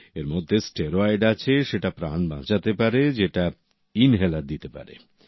এরমধ্যে স্টেরয়েড আছে সেটা প্রাণ বাঁচাতে পারে যেটা ইনহেলার দিতে পারে